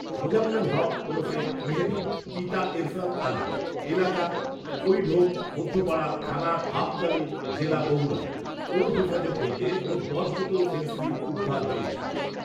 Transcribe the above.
মোজাম্মেল হক ওরফে মেহেদী। পিতা এরফান আলী। এলাকা কৈঢোপ মধ্যপাড়া, থানা গাবতলী, জেলা বগুড়া। ওঁর হেফাজত হইতে মোট দশ বোতল ফেন্সিডিল উদ্ধার হয়েছে।